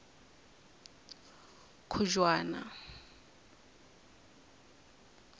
khujwana